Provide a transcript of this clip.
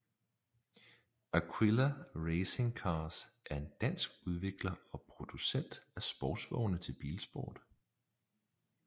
Aquila Racing Cars er en dansk udvikler og producent af sportsvogne til bilsport